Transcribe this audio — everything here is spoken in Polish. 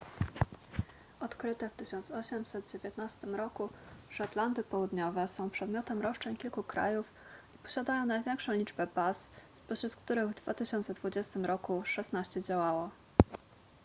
odkryte w 1819 r szetlandy południowe są przedmiotem roszczeń kilku krajów i posiadają największą liczbę baz spośród których w 2020 r szesnaście działało